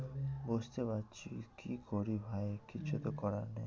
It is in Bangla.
বুঝতে পারছি কি করি ভাই কিছু তো করার নেই।